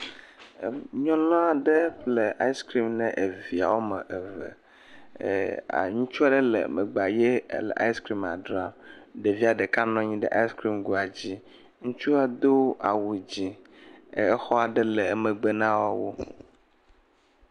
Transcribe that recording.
Nyunu aɖe ƒle ice cream nae via woame eve ee.. ŋutsu aɖe le megbea le ice cream ma dzram, ɖevia ɖeka nɔ anyi ɖe ice cream goa dzi, ŋutsua do awu dzɛ̃ exɔa ɖe le megbe na wo.